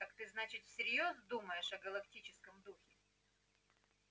так ты значит всерьёз думаешь о галактическом духе